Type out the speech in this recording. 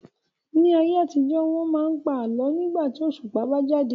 Ní ayé àtijó, wọ́n máa ń pa àlọ́ nígbà tí òṣùpá bá jáde.